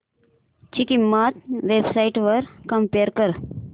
ची किंमत web sites वर कम्पेअर कर